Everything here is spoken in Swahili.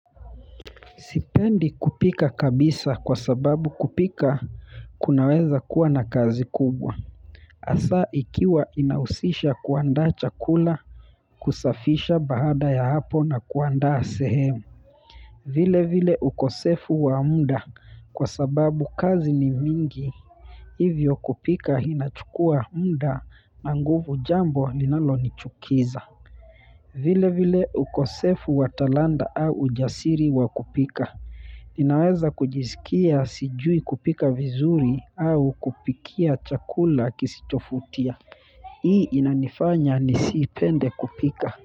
Sipendi kupika kabisa kwa sababu kupika kunaweza kuwa na kazi kubwa hasa ikiwa inahusisha kuandaa chakula kusafisha baada ya hapo na kuandaa sehemu vile vile ukosefu wa muda kwa sababu kazi ni mingi hivyo kupika inachukua muda na nguvu jambo linalo nichukiza vile vile ukosefu wa talanta au ujasiri wa kupika ninaweza kujisikia sijui kupika vizuri au kupikia chakula kisichovutia. Hii inanifanya nisipende kupika.